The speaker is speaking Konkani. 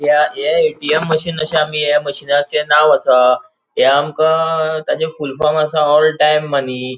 या ये ए.टी.एम. मशीन अशे आमी या मशीनाचे नाव आसा ते आमका तचे फुलफॉर्म आसा ओल टाइम मनी .